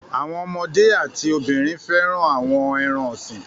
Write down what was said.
Àwọn ọmọdé a ti obìnrin fẹ́ràn àwọn ẹran-ọ̀sìn.